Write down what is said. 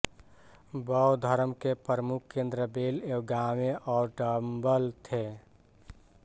बौद्ध धर्म के प्रमुख केंद्र बेल व गावे और डंबल थे